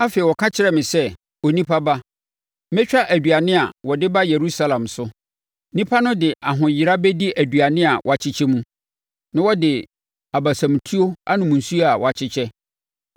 Afei ɔka kyerɛɛ me sɛ, “Onipa ba, mɛtwa aduane a wɔde ba Yerusalem so. Nnipa no de ahoyera bɛdi aduane a wɔkyekyɛ mu, na wɔde abasamutuo anom nsuo a wɔkyekyɛ,